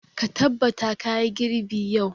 Ka tabbata ka yi girbi yau!